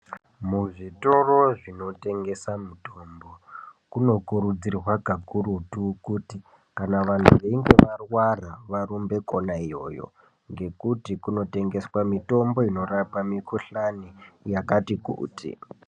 Muzvitoro zvinotengesa mitombo, kunokurudzirwa kakurutu kuti kana vantu veinge varwara varumbe kona iyoyo, ngekuti kunotengeswa mitombo inorapa mikhuhlani yakati kuti.